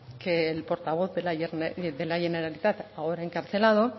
portavoz de la generalitat ahora encarcelado